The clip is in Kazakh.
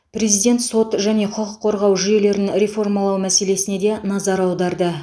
президент сот және құқық қорғау жүйелерін реформалау мәселесіне де назар аударды